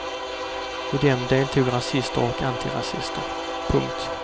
I dem deltog rasister och antirasister. punkt